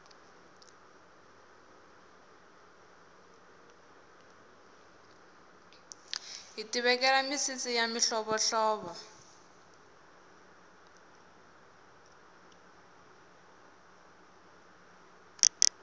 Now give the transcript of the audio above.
hiti vekela misisi ya mihlovo hlovo